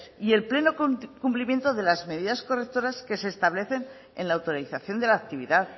y el pleno cumplimiento de las medidas correctoras que se establecen en la autorización de la actividad